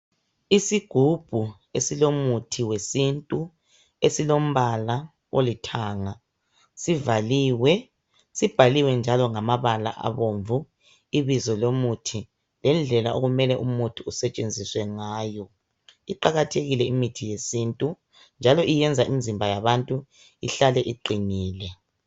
Isigubhu esilomuthi wesintu esilombala olithanga sivaliwe sibhaliwe njalo ngamabala abomvu ibizo lomuthi lendlela okumele umuthi usetshenziswe ngayo. Iqakathekile imithi yesintu njalo iyenza imizimba yabantu ihlale ilungile.